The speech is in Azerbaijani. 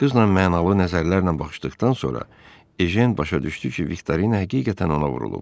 Qızla mənalı nəzərlərlə baxışdıqdan sonra Ejen başa düşdü ki, Viktorina həqiqətən ona vurulub.